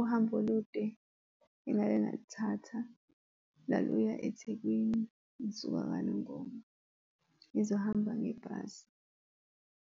Uhambo olude engake ngalithatha laluya eThekwini, ngisuka kaNongoma ngizohamba ngebhasi.